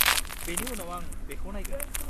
-बेनि उनाव आं बेखौ नायगोन।